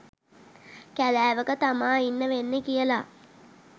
කෑලෑවක තමා ඉන්න වෙන්නෙ කියල